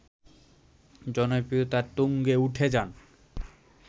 জনপ্রিয়তার তুঙ্গে উঠে যান